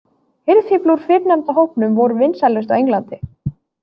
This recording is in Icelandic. Hirðfífl úr fyrrnefnda hópnum voru vinsælust á Englandi.